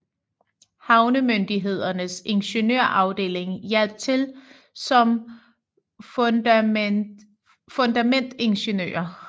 Havnemyndighedens ingeniørafdeling hjalp til som fundamentingeniører